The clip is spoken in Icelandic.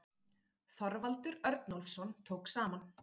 Þorvaldur Örnólfsson tók saman.